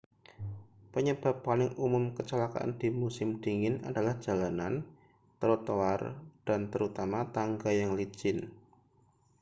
penyebab paling umum kecelakaan di musim dingin adalah jalanan trotoar dan terutama tangga yang licin